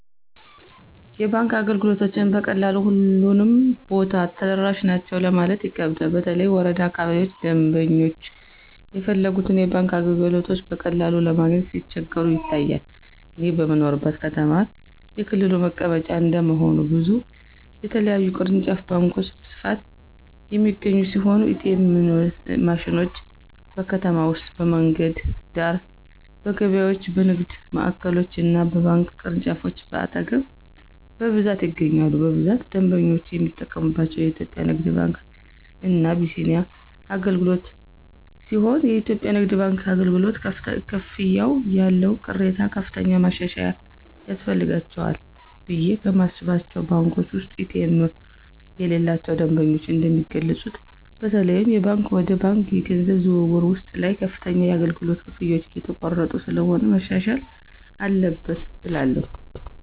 የባንክ አገልግሎቶችን በቀላሉ ሁሉም ቦታ ተደራሽ ናቸው ለማለት ይከብዳል በተለይ ወረዳ አካባቢዎች ደምበኞች የፈለጉትን የባንክ አገልግሎቶች በቀላሉ ለማግኘት ሲቸገሩ ይታያል። እኔ በምኖርበት ከተማ የክልሉ መቀመጫ እንደመሆኑ ብዙ የተለያዩ ቅርንጫፍ ባንኮች በስፋት የሚገኙ ሲሆን ኤ.ቲ.ኤም ማሽኖች: በከተማ ውስጥ በመንገድ ዳር፣ በገበያዎች፣ በንግድ ማዕከሎች እና በባንክ ቅርንጫፎች አጠገብ በብዛት ይገኛሉ። በብዛት ደንበኞች የሚጠቀምባቸው የኢትዮጽያ ንግድ ባንክ እና አቢሲኒያ አገልግሎትሲሆንየኢትዮጵያ ንግድ ባንክ አገልግሎት፨ ክፍያዎች ያለው ቅሬታ ከፍተኛ ማሻሻያ ያስፈልጋቸዋልቑ ብየ ከማስባቸው ባንኮች ውስጥ ኤ.ቲ.ኤም የሌላቸው ደንበኞች እንደሚገልጹት በተለይም የባንክ ወደ ባንክ የገንዘብ ዝውውር ውስጥ ላይ ከፍተኛ የአገልግሎት ክፍያዎች እየተቆረጡ ስለሆነ መሻሻል አለበት እላለሁ።